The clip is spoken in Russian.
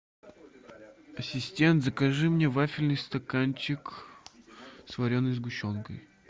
ассистент закажи мне вафельный стаканчик с вареной сгущенкой